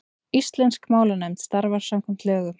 Íslensk málnefnd starfar samkvæmt lögum.